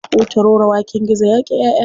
Hutaroro waken gizo yaƙi ƴaʼƴa.